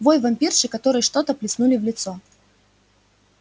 вой вампирши которой что-то плеснули в лицо